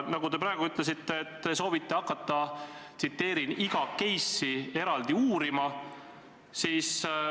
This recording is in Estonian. Te praegu ütlesite, et te soovite hakata iga case'i eraldi uurima.